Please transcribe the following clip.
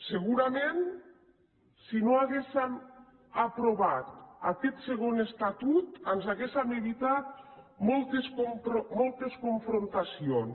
segurament si no haguéssem aprovat aquest segon estatut ens hauríem evitat moltes confrontacions